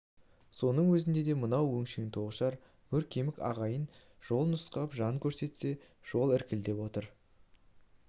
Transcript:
соның өзінде де мынау өңшең тоғышар боркемік ағайын жол нұсқап жөн көрсете алмай іркіліп отыр